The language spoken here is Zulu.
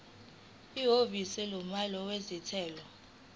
ihhovisi lomnyango wezentela